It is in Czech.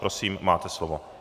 Prosím, máte slovo.